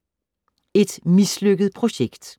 Et mislykket projekt